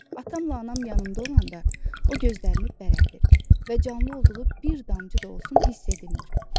Atamla anam yanımda olanda, o gözlərini bərəldir və canlı olduğu bir damcı da olsun hiss edilmir.